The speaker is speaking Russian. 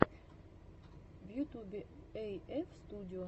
в ютубе эйэф студио